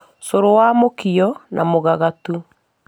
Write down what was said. Cũrũ wa mũkio na mũgagatu